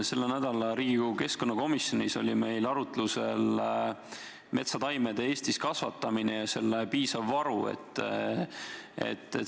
Sellel nädalal oli Riigikogu keskkonnakomisjonis arutlusel metsataimede Eestis kasvatamine ja nende piisav varu.